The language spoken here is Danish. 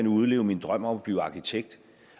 udleve min drøm om at blive arkitekt